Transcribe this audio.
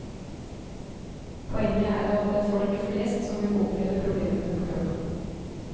Poenget er at det er folk flest som vil oppleve problemene på kroppen.